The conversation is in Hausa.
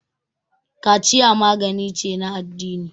kaciya magani ce na addini